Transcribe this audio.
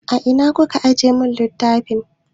A ina kika ajiye mun littafin?